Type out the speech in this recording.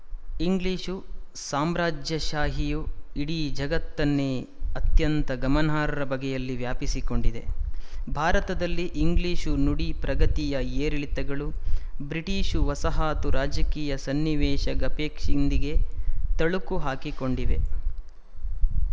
English ಸಾಮ್ರಾಜ್ಯಶಾಹಿಯು ಇಡೀ ಜಗತ್ತನ್ನೇ ಅತ್ಯಂತ ಗಮನಾರ್ಹ ಬಗೆಯಲ್ಲಿ ವ್ಯಾಪಿಸಿಕೊಂಡಿದೆ ಭಾರತದಲ್ಲಿ ಇಂಗ್ಲಿಶು ನುಡಿ ಪ್ರಗತಿಯ ಏರಿಳಿತಗಳು ಬ್ರಿಟಿಶು ವಸಾಹತು ರಾಜಕೀಯ ಸನ್ನಿವೇಶಗಪೇಕ್ಷಿಂದಿಗೆ ತಳುಕು ಹಾಕಿಕೊಂಡಿವೆ